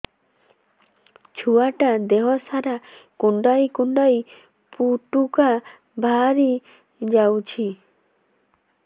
ଛୁଆ ଟା ଦେହ ସାରା କୁଣ୍ଡାଇ କୁଣ୍ଡାଇ ପୁଟୁକା ବାହାରି ଯାଉଛି